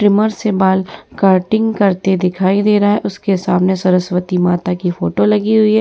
Trimmer से बाल cutting करते दिखाई दे रहा उसके सामने सरस्वती माता की फोटो लगी हुई है।